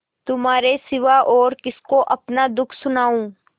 तुम्हारे सिवा और किसको अपना दुःख सुनाऊँ